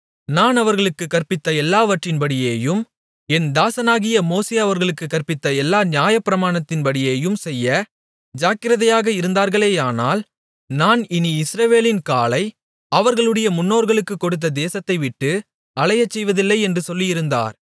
நான் அவர்களுக்குக் கற்பித்த எல்லாவற்றின்படியேயும் என் தாசனாகிய மோசே அவர்களுக்குக் கற்பித்த எல்லா நியாயப்பிரமாணத்தின்படியேயும் செய்ய ஜாக்கிரதையாக இருந்தார்களேயானால் நான் இனி இஸ்ரவேலின் காலை அவர்களுடைய முன்னோர்களுக்குக் கொடுத்த தேசத்தை விட்டு அலையச் செய்வதில்லை என்று சொல்லியிருந்தார்